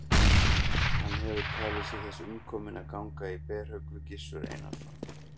Hann hefur talið sig þess umkominn að ganga í berhögg við Gizur Einarsson.